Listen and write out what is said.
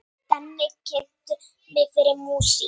Denni kynnti mig fyrir músík.